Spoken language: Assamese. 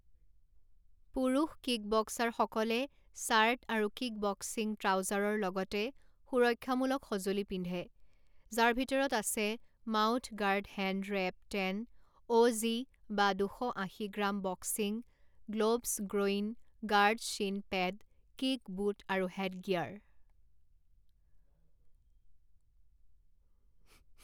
পুৰুষ কিকবক্সাৰসকলে চাৰ্ট আৰু কিকবক্সিং ট্ৰাউজাৰৰ লগতে সুৰক্ষামূলক সঁজুলি পিন্ধে যাৰ ভিতৰত আছে mouth guard hand wrap ten O Z বা দুশ আশী gram boxing gloves groin guard shin pad kick boot আৰু হেডগিয়াৰ।